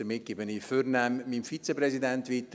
Ich gebe nun vornehm an meinen Vizepräsidenten weiter.